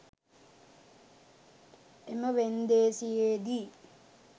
එම වෙන්දේසියේදී